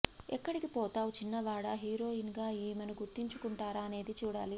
ఎక్కడికి పోతావ్ చిన్నవాడా హీరోయిన్ గా ఈమెను గుర్తించుకుంటారా అనేది చూడాలి